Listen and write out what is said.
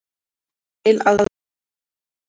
Til að túlka